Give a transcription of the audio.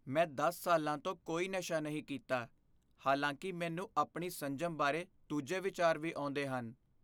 ਮੈਂ ਦਸ ਸਾਲਾਂ ਤੋਂ ਕੋਈ ਨਸ਼ਾ ਨਹੀਂ ਕੀਤਾ, ਹਾਲਾਂਕਿ ਮੈਨੂੰ ਆਪਣੀ ਸੰਜਮ ਬਾਰੇ ਦੂਜੇ ਵਿਚਾਰ ਵੀ ਆਉਂਦੇ ਹਨ